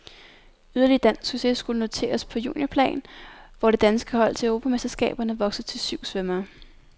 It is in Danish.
Yderligere dansk succes skulle noteres på juniorplan, hvor det danske hold til europamesterskaberne voksede til syv svømmere.